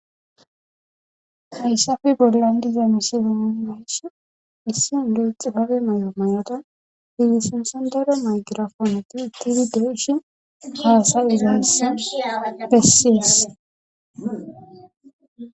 hayssafe bollan diza misilemondesh issin de7e xi fabe may7o may7oda hidisensandera maygirafooneti ittidi deeshi haasayizays bessies